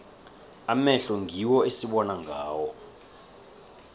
amehlo ngiwo esibona ngawo